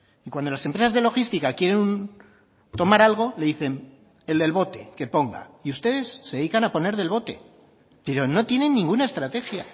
y cuando las empresas de logística quieren tomar algo le dicen el del bote que ponga y ustedes se dedican a poner del bote pero no tienen ninguna estrategia